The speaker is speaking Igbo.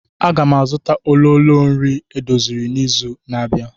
Aga m azụta ololo nri edoziri n'izu na-abịa.